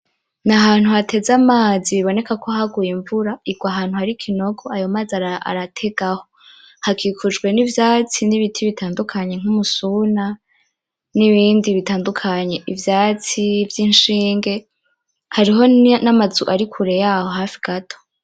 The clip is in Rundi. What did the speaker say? Nahantu hateze amazi biboneka ko haguye invura, irwa ahantu hari ikinogo ayomazi arategaho, hakikujwe nivyatsi nibiti bitandukanye nkumusuna, nibindi bitandukanye, ivyatsi vyinshinge, hariho namazu ari kure yaho hafi gato.